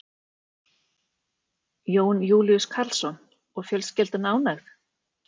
Jón Júlíus Karlsson: Og fjölskyldan ánægð?